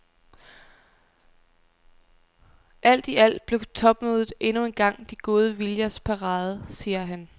Alt i alt blev topmødet endnu engang de gode viljers parade, siger han.